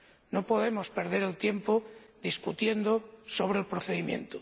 No podemos perder el tiempo debatiendo sobre el procedimiento.